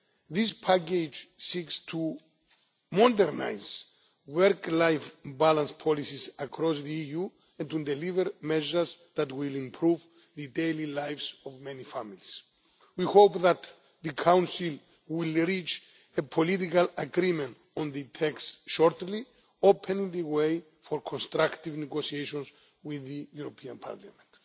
This package seeks to modernise work life balance policies across the EU and to deliver measures that will improve the daily lives of many families. We hope that the Council will reach a political agreement on the text shortly, opening the way for constructive negotiations with the European Parliament.